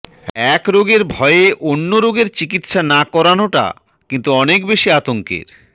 এক রোগের ভয়ে অন্য রোগের চিকিৎসা না করানোটা কিন্তু অনেক বেশি আতঙ্কের